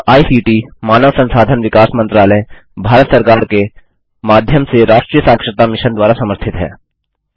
यह आईसीटी मानव संसाधन विकास मंत्रालय भारत सरकार के माध्यम से राष्ट्रीय साक्षरता मिशन द्वारा समर्थित है